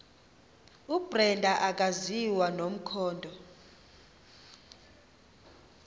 ubrenda akaziwa nomkhondo